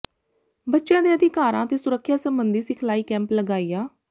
ਬੱਚਿਆਂ ਦੇ ਅਧਿਕਾਰਾਂ ਤੇ ਸੁਰੱਖਿਆ ਸਬੰਧੀ ਸਿਖਲਾਈ ਕੈਂਪ ਲਗਾਇਆ